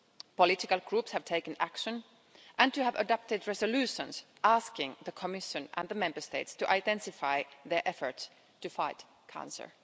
Political groups have taken action and you have adopted resolutions asking the Commission and the Member States to intensify their efforts to fight cancer.